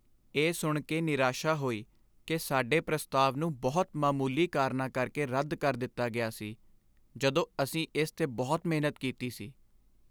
ਇਹ ਸੁਣ ਕੇ ਨਿਰਾਸ਼ਾ ਹੋਈ ਕਿ ਸਾਡੇ ਪ੍ਰਸਤਾਵ ਨੂੰ ਬਹੁਤ ਮਾਮੂਲੀ ਕਾਰਨਾਂ ਕਰਕੇ ਰੱਦ ਕਰ ਦਿੱਤਾ ਗਿਆ ਸੀ ਜਦੋਂ ਅਸੀਂ ਇਸ 'ਤੇ ਬਹੁਤ ਮਿਹਨਤ ਕੀਤੀ ਸੀ।